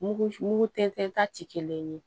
Mugu mugu tɛntɛn ta ti kelen ye